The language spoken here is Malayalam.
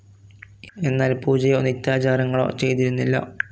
എന്നാൽ പൂജയോ നിത്യാചാരങ്ങളോ ചെയ്തിരുന്നില്ല.